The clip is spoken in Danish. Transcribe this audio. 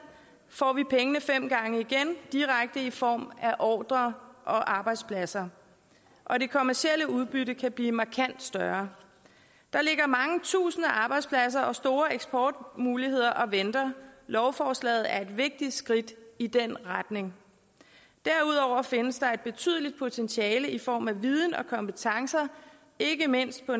får vi pengene fem gange igen direkte i form af ordrer og arbejdspladser og det kommercielle udbytte kan blive markant større der ligger mange tusinde arbejdspladser og store eksportmuligheder og venter lovforslaget er et vigtigt skridt i den retning derudover findes der et betydeligt potentiale i form af viden og kompetencer ikke mindst på